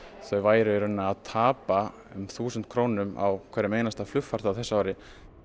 þau væru í rauninni að tapa um þúsund krónum á hverjum einasta flugfarþega á þessu ári